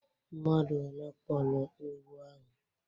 Mmadu one kpọrọ egwu ahụ?